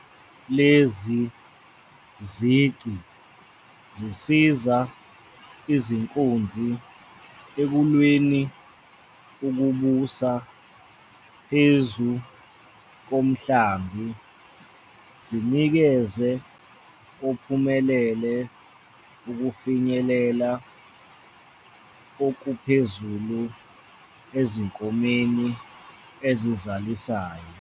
Lezi zici zisiza izinkunzi ekulweleni ukubusa phezu komhlambi, zinikeze ophumelele ukufinyelela okuphezulu ezinkomeni ezizalisayo.